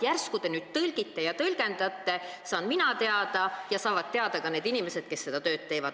Järsku te nüüd tõlgite ja tõlgendate, siis saan teada mina ja saavad teada ka need inimesed, kes seda tööd teevad.